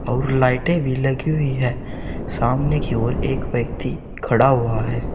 और लाइटें भी लगी हुई हैं सामने की और एक व्यक्ति खड़ा हुआ है।